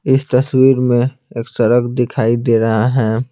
इस तस्वीर में एक सड़क दिखाई दे रहा है।